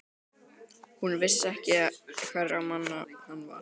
Hún vissi ekki hverra manna hann var.